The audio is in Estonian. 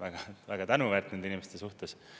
väga tänuväärt nende inimeste suhtes.